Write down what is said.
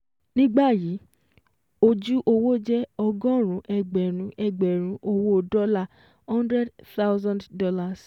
Nígbàyí, ojú owó jẹ́ ọgọ́rún ẹgbẹ̀rún ẹgbẹ̀rún owó dọ́là hundred thousand dollars